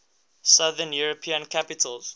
southern european capitals